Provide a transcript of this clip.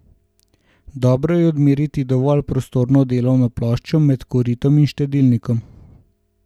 Dobro je odmeriti dovolj prostorno delovno ploščo med koritom in štedilnikom.